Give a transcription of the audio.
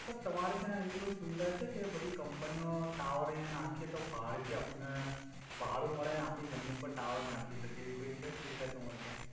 sir તમારે ત્યા એવી કોઇ સુવિધા છે કે બધી કમ્પનિઓ ટાવર આયા નાખે તો ભાડે થી આપને ભાડુ મડે અને આપી જમિન ઉપર ટાવર નાખી સકે એવી કોઇ છે સુવિધા તમારે ત્યા